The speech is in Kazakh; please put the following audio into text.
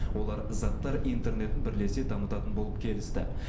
олар заттар интернетін бірлесе дамытатын болып келісті